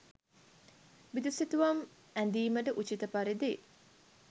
බිතුසිතුවම් ඇඳීමට උචිත පරිදි